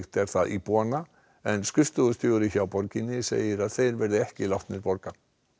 er það íbúanna en skrifstofustjóri hjá borginni segir að þeir verði ekki látnir borga